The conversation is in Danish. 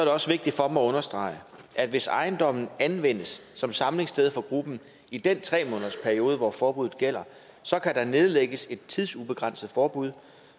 også vigtigt for mig at understrege at hvis ejendommen anvendes som samlingssted for gruppen i den tre månedersperiode hvor forbuddet gælder så kan der nedlægges et tidsubegrænset forbud